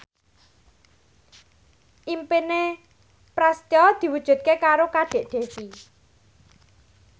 impine Prasetyo diwujudke karo Kadek Devi